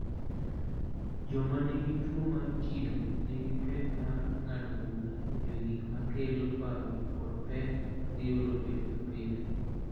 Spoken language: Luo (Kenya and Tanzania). Joma nigi tuwo mar kido nigi pek mar ng�ado bura e wi gik ma kelo parruok kod pek ma giyudo pile ka pile.